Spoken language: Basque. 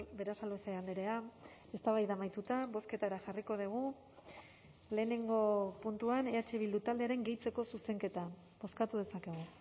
berasaluze andrea eztabaida amaituta bozketara jarriko dugu lehenengo puntuan eh bildu taldearen gehitzeko zuzenketa bozkatu dezakegu